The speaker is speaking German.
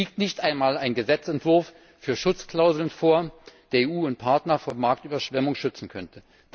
Es liegt nicht einmal ein Gesetzentwurf für Schutzklauseln vor, der EU und Partner vor Marktüberschwemmungen schützen könnte.